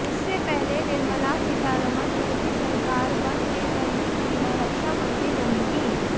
इससे पहले निर्मला सीतारमण मोदी सरकार वन में पहली महिला रक्षा मंत्री बनी थीं